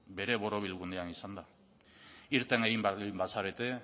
bere borobilgunean izan da irten egin behar bazarete